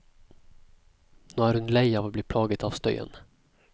Nå er hun lei av å bli plaget av støyen.